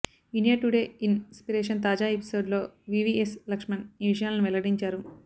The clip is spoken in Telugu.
ఇండియా టుడే ఇన్ స్పిరేషన్ తాజా ఎపిసోడ్ లో వివీఎస్ లక్ష్మణ్ ఆ విషయాలను వెల్లడించారు